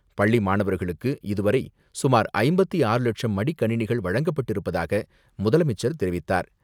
பள்ளி மாணவர்களுக்கு இதுவரை சுமார் ஐம்பத்து ஆறு லட்சம் மடிக்கணினிகள் வழங்கப்பட்டிருப்பதாக முதலமைச்சர் தெரிவித்தார்.